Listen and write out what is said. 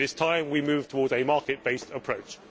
It is time we moved towards a market based approach.